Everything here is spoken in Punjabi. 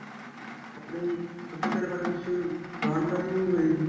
ਆਪਣੇ ਸਭਿਆਚਾਰ ਬਾਰੇ ਕੁੱਝ ਜਾਣਕਾਰੀ ਨਹੀਂ ਹੋਏਗੀ .